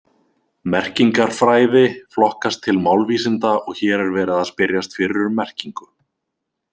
Merkingarfræði flokkast til málvísinda og hér er verið að spyrjast fyrir um merkingu.